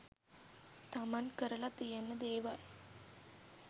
තමන් කරලා තියෙන දෙවල්.